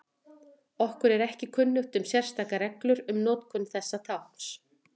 Okkur er ekki kunnugt um sérstakar reglur um notkun þessa tákns.